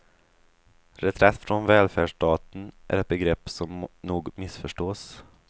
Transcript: Reträtt från välfärdsstaten är ett begrepp som nog missförstås.